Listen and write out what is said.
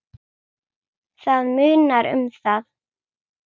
Það munar um það.